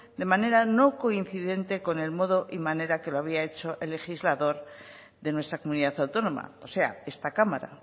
de manera no coincidente con el modo y manera que lo había hecho el legislador de nuestra comunidad autónoma o sea esta cámara